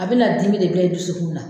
A bɛna dimi de dɔw dusukunna.